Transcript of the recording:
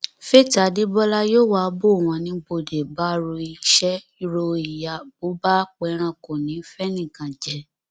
faith adébọlá yòówá bò wọn ní bóde bá ro iṣẹ rọ ìyà bó bá pẹran kò ní í fẹnìkan jẹ